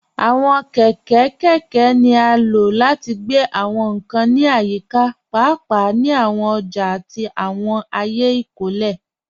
Àwọn kẹkẹ kẹkẹ ni a ló láti gbẹ̀ àwọn nkàn ní ayíkà, páápàá ni àwọn òjà àti àwọn ayé ìkólẹ.